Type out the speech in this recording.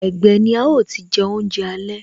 Ẹgbẹ́ ni a ó ti je oúnjẹ alẹ́